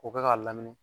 K'o kɛ k'a lamini